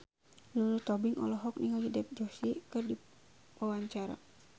Lulu Tobing olohok ningali Dev Joshi keur diwawancara